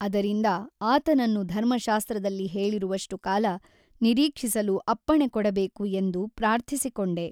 ಅದರಿಂದ ಆತನನ್ನು ಧರ್ಮಶಾಸ್ತ್ರದಲ್ಲಿ ಹೇಳಿರುವಷ್ಟು ಕಾಲ ನಿರೀಕ್ಷಿಸಲು ಅಪ್ಪಣೆಕೊಡಬೇಕು ಎಂದು ಪ್ರಾರ್ಥಿಸಿಕೊಂಡೆ.